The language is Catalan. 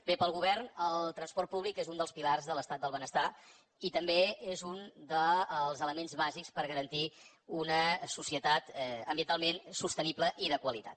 bé pel govern el transport públic és un dels pilars de l’estat del benestar i també és un dels elements bàsics per garantir una societat ambientalment sostenible i de qualitat